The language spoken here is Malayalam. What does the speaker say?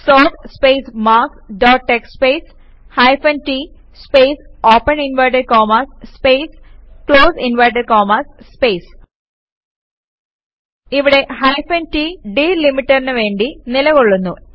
sort space marks dot TXT space hyphen t space open inverted commas space close inverted commas space ഇവിടെ ഹൈഫൻ t ഡിലിമീറ്ററിന് വേണ്ടി നിലകൊള്ളുന്നു